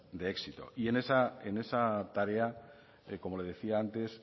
de éxito en esa tarea como le decía antes